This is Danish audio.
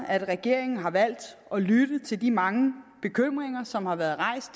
at regeringen har valgt at lytte til de mange bekymringer som har været rejst